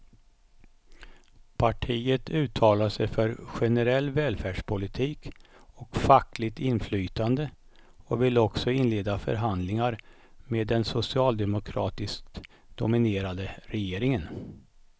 Partiet uttalar sig för generell välfärdspolitik och fackligt inflytande och vill också inleda förhandlingar med den socialdemokratiskt dominerade regeringen.